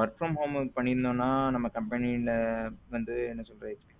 work from home பண்ணி இருந்தோம்னா நமக்க company ல வந்து என்ன சொல்லுறது.